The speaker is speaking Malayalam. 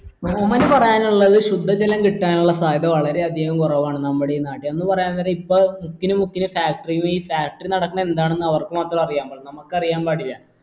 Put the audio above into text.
സോമന് പറയാനുള്ളത് ശുദ്ധ ജലം കിട്ടാനുള്ള സാധ്യത വളരെ അധികം കുറവാണ് നമ്മടെ ഈ നാട്ടിൽ എന്നു പറയാൻ നേരം ഇപ്പൊ മുക്കിന് മുക്കിന് factory ന്നീ factory നടക്കണേ എന്താണെന്ന് അവർക്ക് മാത്രേ അറിയാമ്പാടുള്ളൂ നമുക്കറിയാമ്പാടില്ല